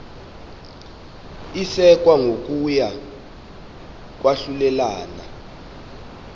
isekwa kokuya kwahlulelana